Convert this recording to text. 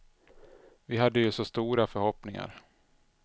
Vi hade ju så stora förhoppningar.